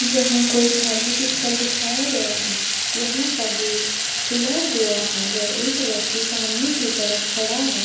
यहाँ कोई धार्मिक स्थल दिखया गया है यहाँ का गेट खुला हुआ है वे एक व्यक्ति सामने की तरफ खड़ा है।